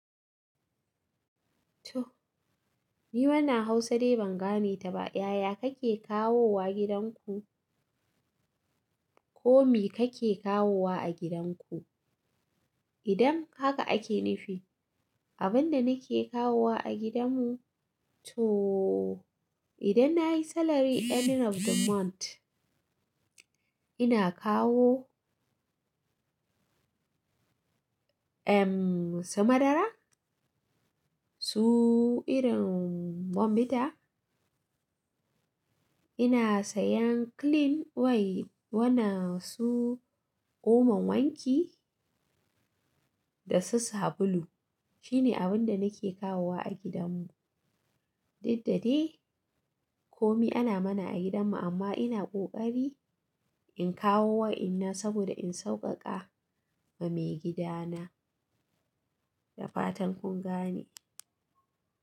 To, ni wannan Hausa dai ban gane ta ba. Yaya kake kawowa gidanku? Ko me kake kawowa a gidanku? Idan haka ake nufi, abin da nake kawowa a gidanmu, to idan na yi salary ending of the month, ina kawo, ehm, su madara, su irin bombita, ina sayan clean wai wannan su omon wanki da su sabulu. Shine abin da nake kawowa a gidanmu. Duk da dai, komi ana mana a gidanmu amma ina ƙoƙari in kawo wa'inna saboda in sauƙaƙa wa maigidana. Da fatan kun gane.